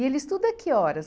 E ele estuda a que horas?